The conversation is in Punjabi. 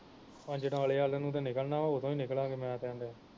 ਅਜਨਾਲੇ ਵੱਲ ਨੂੰ ਤੇ ਨਿਕਲਣਾ ਉਦੋਂ ਹੀ ਨਿਕਲਾਗੇ ਮੈਂ ਤੇ ਆਣ ਦਿਆਂ